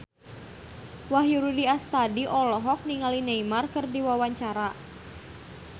Wahyu Rudi Astadi olohok ningali Neymar keur diwawancara